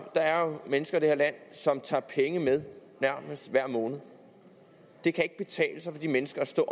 der er jo mennesker i det her land som tager penge med nærmest hver måned det kan ikke betale sig for de mennesker at stå